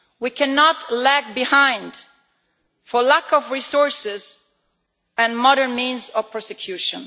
We cannot lag behind for lack of resources and modern means of prosecution.